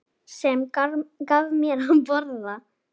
Sem gaf mér að borða.